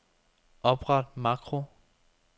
Opret makro.